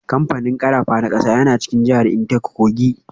Kamfanin karafa na kasa yana cikin jihar Intake Kogi.